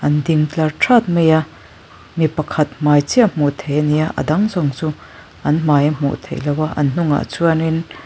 an ding tlar ṭhawt mai a mi pakhat hmai chiah hmuh theih ania a dang zawng chu an hmai a hmuh theih loh a an hnungah chuanin.